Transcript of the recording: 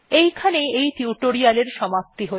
এখানেই এই টিউটোরিয়াল্ এর সমাপ্তি হল